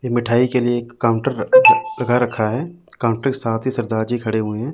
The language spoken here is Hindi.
ये मिठाई के लिए एक काउंटर र लगा रखा है काउंटर के साथ ही सरदार जी खड़े हुए हैं।